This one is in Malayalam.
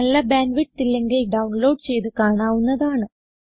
നല്ല ബാൻഡ് വിഡ്ത്ത് ഇല്ലെങ്കിൽ ഡൌൺലോഡ് ചെയ്ത് കാണാവുന്നതാണ്